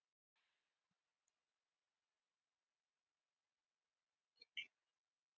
Talningu lauk í dag.